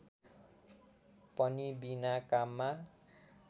पनि बिना काममा